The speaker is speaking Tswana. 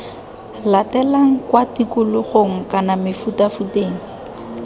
latelang kwa tikologong kana mefutafuteng